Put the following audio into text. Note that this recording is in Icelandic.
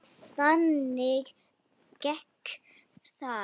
Og þannig gekk það.